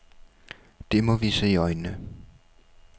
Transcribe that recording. Det må vi se i øjnene.